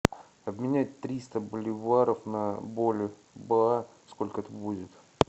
обменять триста боливаров на бальбоа сколько это будет